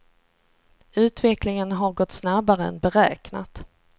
Utvecklingen har gått snabbare än beräknat.